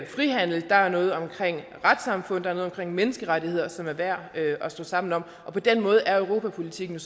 frihandel retssamfund og menneskerettigheder som er værd at stå sammen om på den måde er europapolitikken